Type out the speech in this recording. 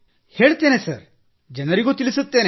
ಹೇಳುತ್ತೇನೆ ಸರ್ ಜನರಿಗೂ ತಿಳಿಸುತ್ತೇನೆ